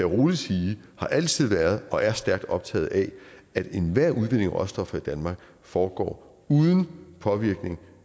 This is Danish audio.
rolig sige har altid været og er stærkt optaget af at enhver udvinding af råstoffer i danmark foregår uden påvirkning